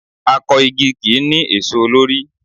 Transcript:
Akọ igi kì í ní èso lórí.